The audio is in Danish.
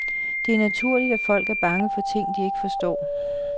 Det er naturligt, at folk er bange for ting, de ikke forstår.